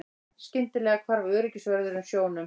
Skyndilega hvarf öryggisvörðurinn sjónum.